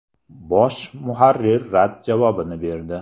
Bosh muharrir rad javobini berdi.